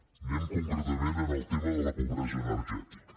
anem concretament al tema de la pobresa energètica